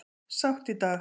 Sátt í dag